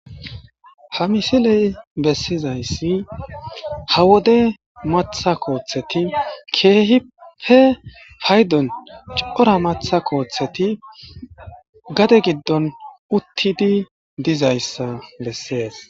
ha misiley bessizayssi ha wode matha kooththeti keehipe faydon cora matha kooththeti gade giddon uttidi dizayssa bessees